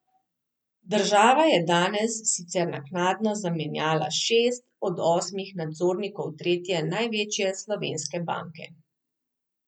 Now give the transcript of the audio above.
Država je danes sicer naknadno zamenjala šest od osmih nadzornikov tretje največje slovenske banke.